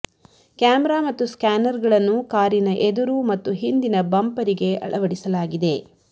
camera ಮತ್ತು scanner ಗಳನ್ನು ಕಾರಿನ ಎದುರು ಮತ್ತು ಹಿಂದಿನ ಬಂಪರಿಗೆ ಅಳವಡಿಸಲಾಗಿದೆ